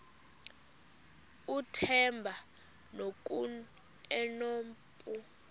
uthemba ngoku enompu